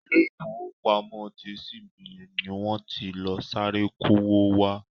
Ilé ifowopamo ti CBN ni wọ́n ti lọ sáré kó'wó wá.